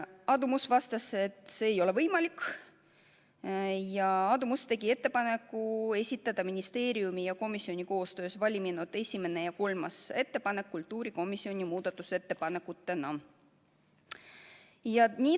Aadu Must vastas, et see ei ole võimalik, ja ta tegi ettepaneku esitada ministeeriumi ja komisjoni koostöös valminud esimene ja kolmas ettepanek kultuurikomisjoni muudatusettepanekutena.